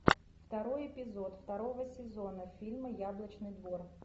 второй эпизод второго сезона фильма яблочный двор